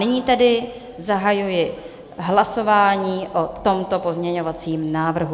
Nyní tedy zahajuji hlasování o tomto pozměňovacím návrhu.